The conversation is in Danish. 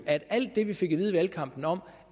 at alt det vi fik at vide i valgkampen om